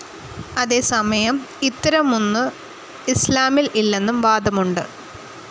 അതേസമയം ഇത്തരമൊന്നു ഇസ്‌ലാമിൽ ഇല്ലെന്നും വാദമുണ്ട്.